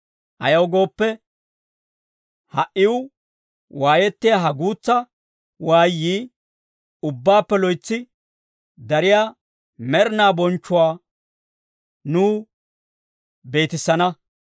Ayaw gooppe, ha"iw waayettiyaa ha guutsa waayyii, ubbaappe loytsi dariyaa med'inaa bonchchuwaa nuw beetissana.